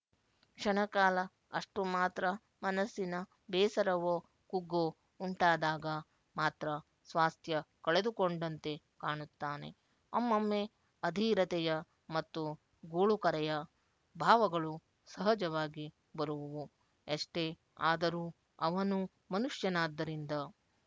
ಕ್ಷಣಕಾಲ ಅಷ್ಟು ಮಾತ್ರ ಮನಸ್ಸಿನ ಬೇಸರವೊ ಕುಗ್ಗೊ ಉಂಟಾದಾಗ ಮಾತ್ರ ಸ್ವಾಸ್ಥ್ಯ ಕಳೆದುಕೊಂಡಂತೆ ಕಾಣುತ್ತಾನೆ ಒಮ್ಮೊಮ್ಮೆ ಅಧೀರತೆಯ ಮತ್ತು ಗೋಳುಕರೆಯ ಭಾವಗಳು ಸಹಜವಾಗಿ ಬರುವುವು ಎಷ್ಟೇ ಆದರೂ ಅವನೂ ಮನುಷ್ಯನಾದ್ದರಿಂದ